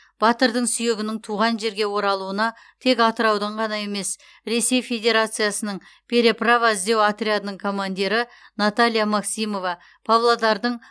батырдың сүйегінің туған жерге оралуына тек атыраудың ғана емес ресей федерациясының переправа іздеу отрядының командирі наталья максимова павлодардың